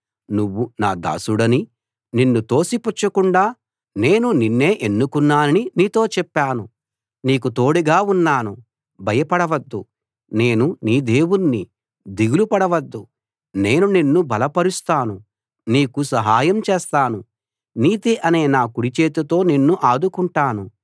నువ్వు నా దాసుడనీ నిన్ను తోసిపుచ్చకుండా నేను నిన్నే ఎన్నుకున్నాననీ నీతో చెప్పాను నీకు తోడుగా ఉన్నాను భయపడవద్దు నేను నీ దేవుణ్ణి దిగులు పడవద్దు నేను నిన్ను బలపరుస్తాను నీకు సహాయం చేస్తాను నీతి అనే నా కుడిచేతితో నిన్ను ఆదుకుంటాను